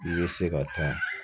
I bɛ se ka taa